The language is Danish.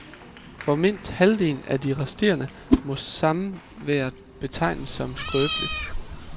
For mindst halvdelen af de resterende må samværet betegnes som skrøbeligt.